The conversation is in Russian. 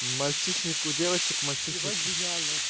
мальчишник у девочек мальчишник ебать гениально